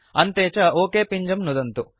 अन्ते च ओक पिञ्जं नुदन्तु